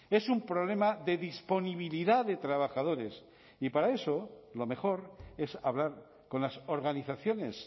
es un problema de disponibilidad de trabajadores y para eso lo mejor es hablar con las organizaciones